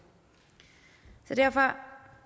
så derfor